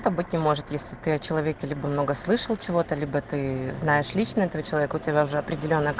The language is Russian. это быть не может если ты человек или бы много слышал чего то либо ты знаешь лично этого человека у тебя уже определены